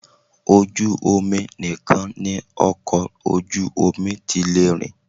Ojú omi nìkan ni ọkọ ojú omi ti lè rìn